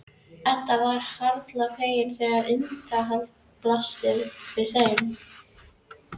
Edda varð harla fegin þegar innihaldið blasti við þeim.